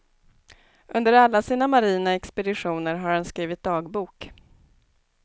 Under alla sina marina expeditioner har han skrivit dagbok.